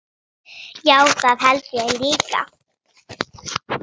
Já, það held ég líka.